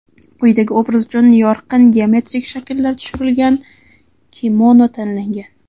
Quyidagi obraz uchun yorqin geometrik shakllar tushirilgan kimono tanlangan.